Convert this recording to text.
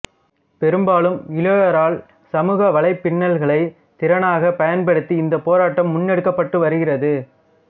பெரும்பாலும் இளையோரால் சமூக வலைப்பின்னல்களை திறனாகப் பயன்படுத்தி இந்தப் போராட்டம் முன்னெடுக்கப்பட்டு வருகிறது